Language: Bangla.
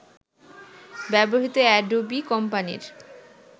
ব্যবহৃত অ্যাডোবি কোম্পানির